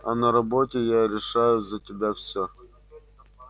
а на работе я решаю за тебя всё